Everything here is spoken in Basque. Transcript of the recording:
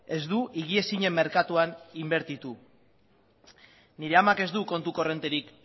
ez du higiezinen merkatuan inbertitu nire amak ez du kontu korronterik